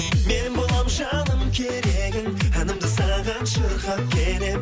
мен боламын жаным керегің әнімді саған шырқап келемін